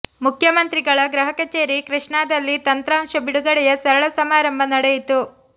ಮುಖ್ಯಮಂತ್ರಿಗಳ ಗೃಹ ಕಚೇರಿ ಕೃಷ್ಣಾದಲ್ಲಿ ತಂತ್ರಾಂಶ ಬಿಡುಗಡೆಯ ಸರಳ ಸಮಾರಂಭ ನಡೆಯಿತು